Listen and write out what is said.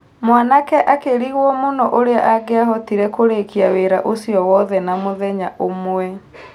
Mwanake akĩrigwo mũno ũrĩa angiahotire kũrĩkia wĩra ũcio wothe na mũthenya ũmwe.